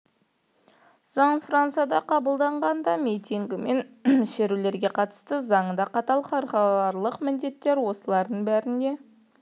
заң францияда қабылданған да митингі мен шерулерге қатысты заң да қатал халықаралық міндеттер осылардың бәріне